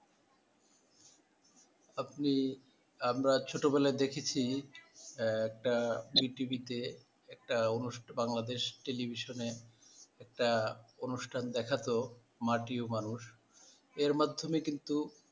আপনি, আমরা ছোটবেলায় দেখেছি আহ একটা zee TV তে একটা আনু, বাংলাদেশ television এ একটা অনুষ্ঠান দেখাতো মাটি ও মানুষ এর মাধ্যমে কিন্তু,